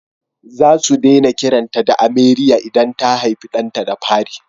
Za su daina kiranta da Ameriya idan ta haifi ɗanta na fari